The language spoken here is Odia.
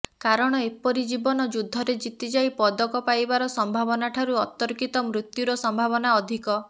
କାରଣ ଏପରି ଜୀବନ ଯୁଦ୍ଧରେ ଜିତିଯାଇ ପଦକ ପାଇବାର ସମ୍ଭାବନାଠାରୁ ଅତର୍କିତ ମୃତ୍ୟୁର ସମ୍ଭାବନା ଅଧିକ